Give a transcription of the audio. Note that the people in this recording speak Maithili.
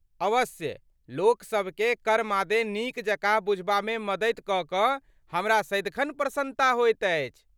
अवश्य, लोकसभकेँ कर मादे नीकजकाँ बुझबामे मदति कऽ कऽहमरा सदिखन प्रसन्नता होइत अछि।